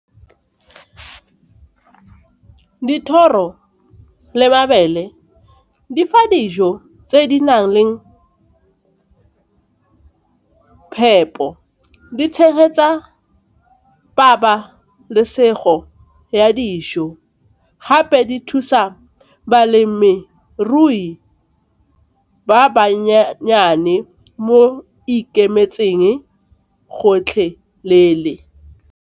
Dithoro le mabele di fa dijo tse di nang le phepo, di tshegetsa pabalesego ya dijo gape di thusa balemirui ba mo ikemetseng gotlhelele.